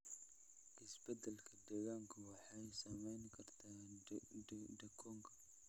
Isbeddellada deegaanku waxay saamayn karaan deegaankooda.